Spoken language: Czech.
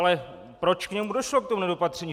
Ale proč k němu došlo, k tomu nedopatření?